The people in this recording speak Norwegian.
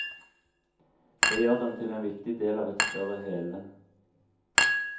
Det gjør dem til en viktig del av et større hele.